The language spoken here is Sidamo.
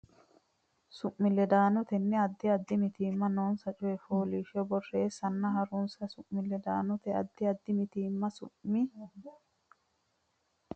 su mi ledaanotenni Addi addi mitiimma noonsa coy fooliishsho borreessanna ha runse su mi ledaanotenni Addi addi mitiimma su mi.